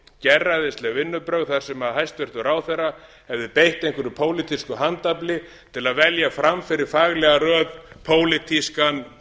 gerræðisleg vinnubrögð þar sem hæstvirtur ráðherra hefði beitt einhverju pólitísku handafli til að velja fram fyrir faglega röð pólitískan